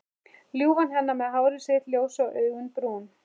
Ljúfan hennar með hárið sitt ljósa og augun brún.